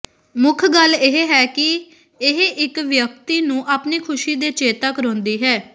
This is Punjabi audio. ਮੁੱਖ ਗੱਲ ਇਹ ਹੈ ਕਿ ਇਹ ਇੱਕ ਵਿਅਕਤੀ ਨੂੰ ਆਪਣੀ ਖੁਸ਼ੀ ਦਾ ਚੇਤਾ ਕਰਾਉਂਦੀ ਹੈ